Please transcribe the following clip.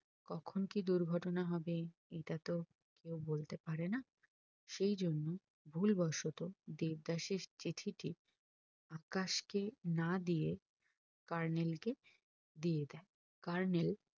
কখন কি দুর্ঘটনা হবে এটা তো কেও বলতে পারে না সেই জন্য ভুল বসত দেবদাস এর চিঠিটি আকাশকে না দিয়ে colonel কে দিয়ে দেয় colonel